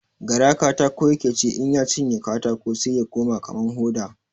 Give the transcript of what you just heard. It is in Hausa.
Gara katako ya ke ci, in ya cinye katako sai ya koma kaman hoda.